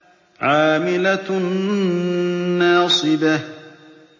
عَامِلَةٌ نَّاصِبَةٌ